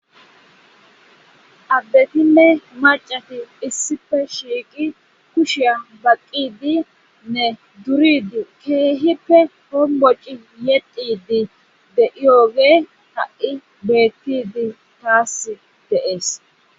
addetinne macati issife shiiqi kushiya baqqidi nne duridi keehippe homboci yecidi de7iyooge ha7i beettidi taas de'ees